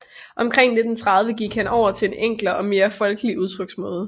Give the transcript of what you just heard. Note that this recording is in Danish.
Omkring 1930 gik han over til en enklere og mere folkelig udtryksmåde